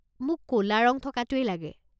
মোক ক'লা ৰং থকাটোৱেই লাগে।